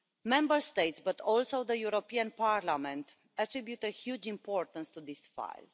Member States, but also the European Parliament, attribute a huge importance to this file.